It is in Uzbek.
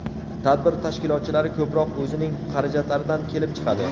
Tadbir tashkilotchilari ko‘proq o‘zining xarajatlaridan kelib chiqadi.